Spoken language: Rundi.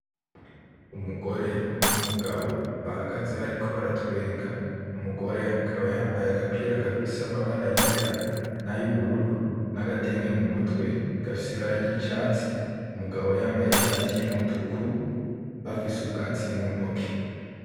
Umugore n'umugabo , Bahagaze bariko baratwenga, umugore akaba yambaye agapira gafise amabara yera n'ayubururu n'agatenge mumutwe gafise ibara ry'icatsi, umugabo yambaye ishati y'umutuku bafise ubwatsi muntoki.